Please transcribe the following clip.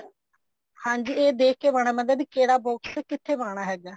ਹਾਂਜੀ ਇਹ ਦੇਖ ਕੇ ਪਾਉਣਾ ਪੈਂਦਾ ਵੀ ਕਿਹੜਾ box ਕਿੱਥੇ ਪਾਉਣਾ ਹੈਗਾ